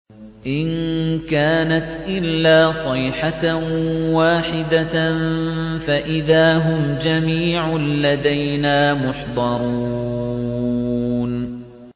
إِن كَانَتْ إِلَّا صَيْحَةً وَاحِدَةً فَإِذَا هُمْ جَمِيعٌ لَّدَيْنَا مُحْضَرُونَ